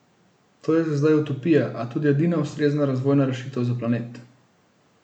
To je za zdaj utopija, a tudi edina ustrezna razvojna rešitev za planet.